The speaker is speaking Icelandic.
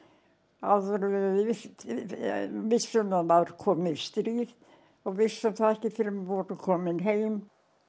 áður en við vissum að það var komið stríð og vissum það ekki fyrr en við vorum komin heim